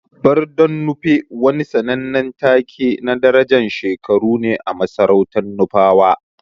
Barden Nupe wani sannanen take na darajan shekaru ne a masarautan Nufawa.